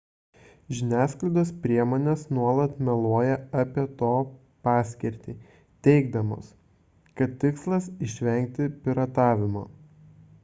žiniasklaidos priemonės nuolat meluoja apie to paskirtį teigdamos kad tikslas išvengti piratavimo